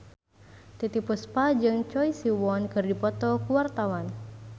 Titiek Puspa jeung Choi Siwon keur dipoto ku wartawan